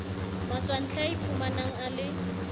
matswantle a iphumanang a le